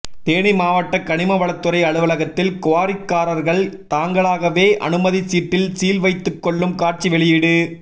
தேனி மாவட்ட கனிமவளத்துறை அலுவலகத்தில் குவாரிக்காரர்கள் தாங்களாகவே அனுமதி சீட்டில் சீல் வைத்து கொள்ளும் காட்சி வெளியீடு